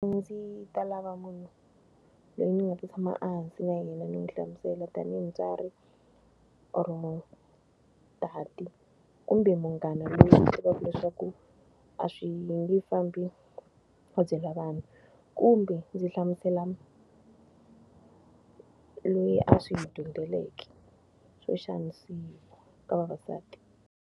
A ndzi ta lava munhu loyi ni nga ta tshama a hansi na yena ni n'wi hlamusela tanihi mutswari or munhu, tati kumbe munghana loyi ni swi tivaka leswaku a swi nge fambi a byela vanhu. Kumbe ndzi hlamusela loyi a swi dyondzeleke xo xanisiwa ka vavasati.